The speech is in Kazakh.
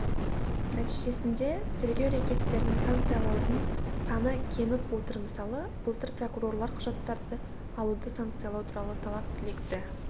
нәтижесінде тергеу рекеттерін санкциялаудың саны кеміп отыр мысалы былтыр прокурорлар құжаттарды алуды санкциялау туралы талап-тілекті